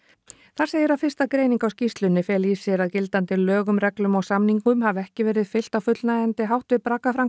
þar segir að fyrsta greining á skýrslunni feli í sér að gildandi lögum reglum og samningum hafi ekki verið fylgt á fullnægjandi hátt við